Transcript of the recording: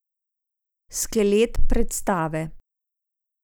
Skelet predstave.